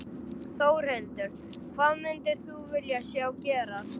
Þórhildur: Hvað myndir þú vilja sjá gerast?